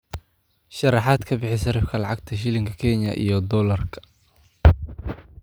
sharaxaad ka bixi sarifka lacagta shilinka Kenya iyo dollarka